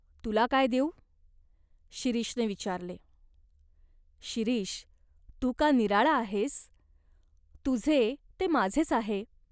तुला काय देऊ?" शिरीषने विचारले "शिरीष, तू का निराळा आहेस ? तुझे ते माझेच आहे.